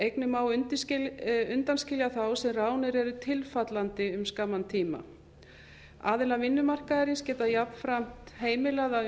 einnig má undanskilja þá sem ráðnir eru tilfallandi um skamman tíma aðilar vinnumarkaðarins geta jafnframt heimilað að